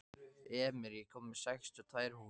Emir, ég kom með sextíu og tvær húfur!